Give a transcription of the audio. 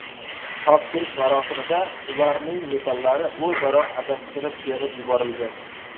Topshirish marosimida ularning medallari o‘zaro adashtirib berib yuborilgan.